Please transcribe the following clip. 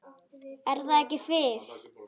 Er það ekki Fis?